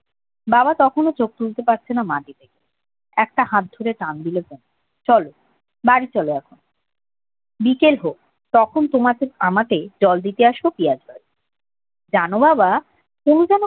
বাবা তখনও চোখ তুলতে পারছিল না একটা হাত ধরে টান দিল চলো বাড়ি চলো এখন বিকেল হোক তখন জল দিতে আসবো পিঁয়াজ গাছে যান বাবা তুমি